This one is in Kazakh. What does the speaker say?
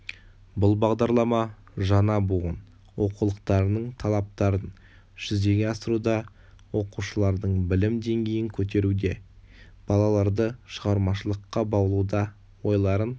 бұл бағдарлама жаңа буын оқулықтарының талаптарын жүзеге асыруда оқушылардың білім деңгейін көтеруде балаларды шығармашылыққа баулуда ойларын